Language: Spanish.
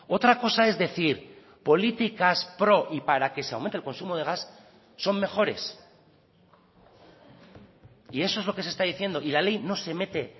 otra cosa es decir políticas pro y para que se aumente el consumo de gas son mejores y eso es lo que se está diciendo y la ley no se mete